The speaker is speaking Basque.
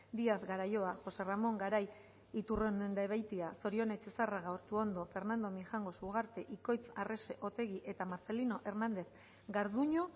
diaz garaio jose ramon garai iturriondobeitia zorione etxezarraga ortuondo fernando mijangos ugarte ikoitz arrese otegi eta marcelino hernández garduño